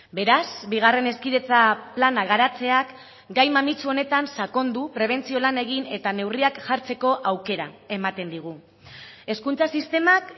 beraz bigarren hezkidetza plana garatzeak gai mamitsu honetan sakondu prebentzio lan egin eta neurriak jartzeko aukera ematen digu hezkuntza sistemak